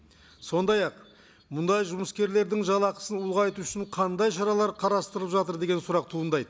сондай ақ мұндай жұмыскерлердің жалақысын ұлғайту үшін қандай шаралар қарастырылып жатыр деген сұрақ туындайды